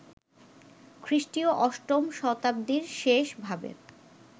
খ্রীষ্টীয় অষ্টম শতাব্দীর শেষ ভাবে